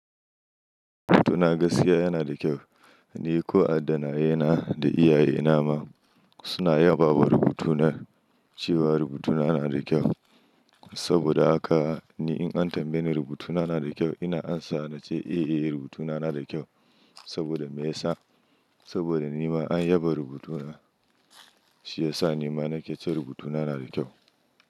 Rubutuna gaskiya yana da kyau, ni ko adda naye na da iyaye nama suna yabawa rubutuna, cewa rubutuna yana da kyau. Saboda haka, ni in an tambaye ni rubutuna yana da kyau, ina amsa nace eh rubutuna yana da kyau saboda me ya sa? Saboda nima an yaba rubutuna shiyasa nima nakece rubutuna na da kyau.